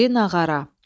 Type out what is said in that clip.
İri nağara.